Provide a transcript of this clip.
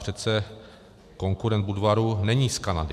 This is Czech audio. Přece konkurent Budvaru není z Kanady.